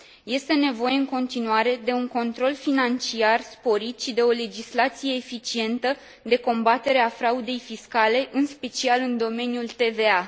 Este nevoie, în continuare, de un control financiar sporit și de o legislație eficientă de combatere a fraudei fiscale, în special în domeniul TVA.